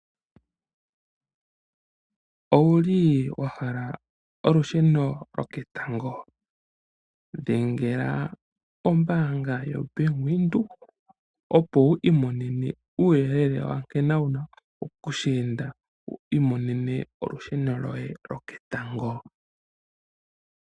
Owuli wahala olusheno lwoketango? Dhengela ombaanga yobank Windhoek opo wu i monene uuyelele nkene wuna okuninga opo wu mone olusheno lwoye lo ketango.